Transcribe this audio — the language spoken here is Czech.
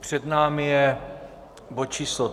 Před námi je bod číslo